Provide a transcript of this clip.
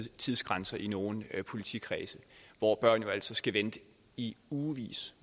tidsgrænser i nogle politikredse hvor børn altså skal vente i ugevis